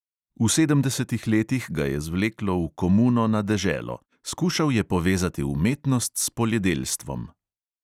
V sedemdesetih letih ga je zvleklo v komuno na deželo – skušal je povezati umetnost s poljedelstvom.